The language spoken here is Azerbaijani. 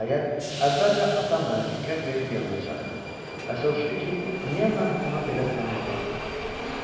Nəhayət əvvəlcə atam mənə diqqət verib yanına çağırdı və soruşdu ki, niyə mən ona belə zənnlə baxıram.